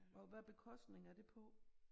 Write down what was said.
Og hvad bekostning er det på